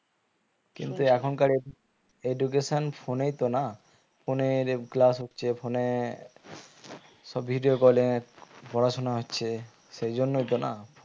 কিন্তু এখনকার edu~ education phone এই তো না phone এর class হচ্ছে phone এ সব video call এ পড়াশোনা হচ্ছে সেই জন্যই তো না